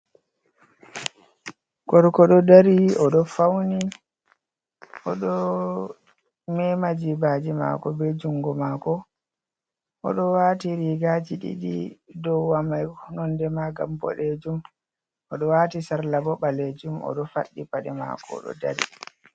Gorko Ɗo dari, oɗo fauni, oɗo mema jibaji mako be jungo mako, oɗo wati rigaji didi, do wamai nonde ma ga bodejum, oɗo wati sarla bo ɓalejum, odo faɗɗi paɗe mako do dari.